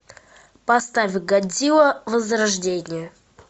поставь годзилла возрождение